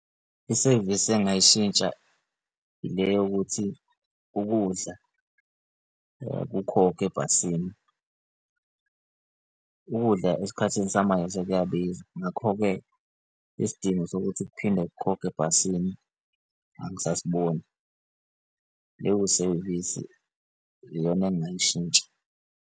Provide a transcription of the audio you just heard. Isevisi engingayishintsha ile yokuthi ukudla kukhokhwe ebhasini. Ukudla esikhathini samanje sekuyabiza, ngakho-ke isidingo sokuthi kuphinde kukhokhwe ebhasini angisasiboni. Leyo sevisi iyona engingayishintsha.